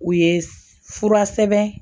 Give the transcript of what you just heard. U ye fura sɛbɛn